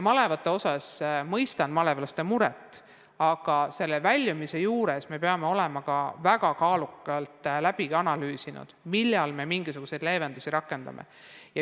Ma mõistan malevlaste muret, aga me peame olema väga hoolega analüüsinud, kuidas me kriisist väljume, millal mingisuguseid leevendusi rakendame.